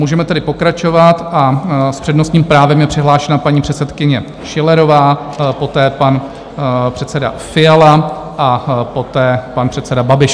Můžeme tedy pokračovat a s přednostním právem je přihlášena paní předsedkyně Schillerová, poté pan předseda Fiala a poté pan předseda Babiš.